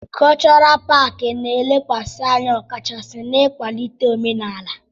Kọlchọral paakị na-elekwasị anya ọkachasi n'ịkwalite omenala.